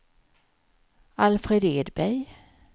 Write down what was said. Alfred Edberg